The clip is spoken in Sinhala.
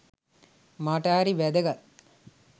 මට හරි වැදගත්.